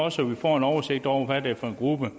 af så vi får en oversigt over hvad det er for en gruppe